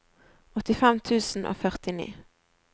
åttifem tusen og førtini